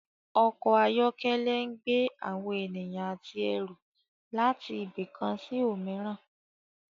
Ọkọ̀ ayọ́kẹ́lẹ́ ń gbé àwọn ènìyàn àti ẹrù láti ibì kan sí òmíràn